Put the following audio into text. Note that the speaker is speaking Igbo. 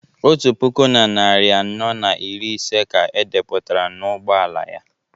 otu puku na narị anọ na iri ise ka e depụtara n'ụgbọ ala ya